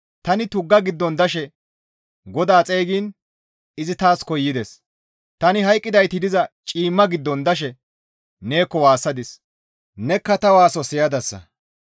«Tani tuggaa giddon dashe GODAA xeygiin izi taas koyides; tani hayqqidayti diza ciimma giddon dashe neekko waassadis; nekka ta waaso siyadasa.